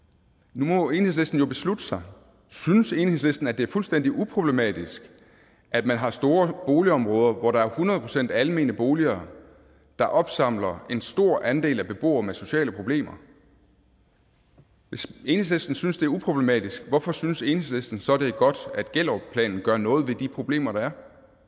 nu må enhedslisten jo beslutte sig synes enhedslisten at det er fuldstændig uproblematisk at man har store boligområder hvor der er hundrede procent almene boliger der opsamler en stor andel af borgere med sociale problemer hvis enhedslisten synes det er uproblematisk hvorfor synes enhedslisten så det er godt at gellerupplanen gør noget ved de problemer der